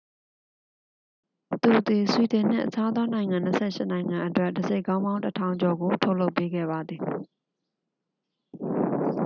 သူသည် ဆွီဒင်နှင့် အခြားသောနိုင်ငံ 28 နိုင်ငံအတွက် တံဆိပ်ခေါင်းပေါင်း 1,000 ကျော်ကို ထုတ်လုပ်ပေးခဲ့ပါသည်